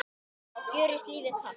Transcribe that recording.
þá gjörist lífið kalt.